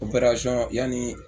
yanni